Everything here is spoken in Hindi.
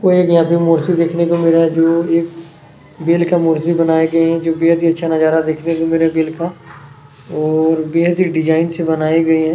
कोई एक यहाँ पे मूर्ति देखनें को मिल रहा है जो एक बेल का मूर्ति बनाए गए है जो बेहद ही अच्छा नजारा देखनें को मिल रहा है बेल का और बेहद ही डिजाईन के बनाई गए है।